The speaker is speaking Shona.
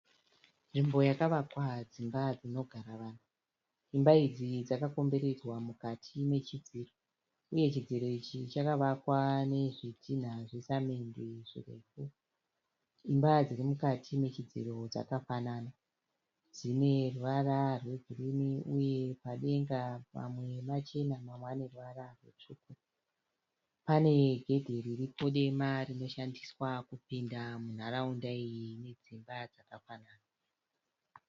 Nzvimbo yakavakwa dzimba dzinogara vanhu. Dzimba idzi dzakakomberedzwa mukati mechidziro uye chidziro ichi chakavakwa nezvitinha zvesemende zvirefu. Dzimba dzirimukati mechidziro dzakafanana. Dzine ruvara rwegirinhi uye padenga pamwe pachena pamwe pane ruvara rutsvuku. Pane gedhi riripo dema rinoshandiswa kupinda munharaunda iyi ine dzimba dzakafanana.